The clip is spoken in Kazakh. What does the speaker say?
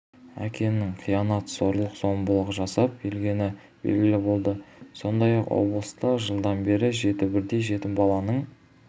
әкенің қиянат зорлық-зомбылық жасап келгені белгілі болды сондай-ақ облыста жылдан бері жеті бірдей жетім баланың